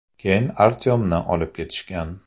Keyin Artyomni olib ketishgan.